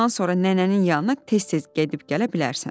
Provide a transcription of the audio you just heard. Bundan sonra nənənin yanına tez-tez gedib-gələ bilərsən.